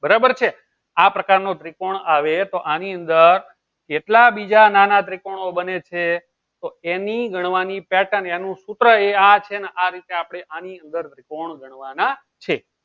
બરાબર છે. આ પ્રકારનો ત્રિકોણ આવે તો આની અંદર કેટલા બીજા નાના ત્રિકોણો બને છે તો એની ગણવાની pattern એનું સૂત્ર એ આ છે ને આ રીતે આપણે આની અંદર ત્રિકોણ ગણવાના છે.